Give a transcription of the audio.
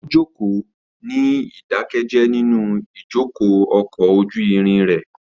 Ó jókòó ní ìdákẹ́jẹ́ẹ́ nínú ìjókòó ọkọ̀ ojú irin rẹ̀.